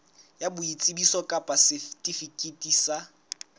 ya boitsebiso kapa setifikeiti sa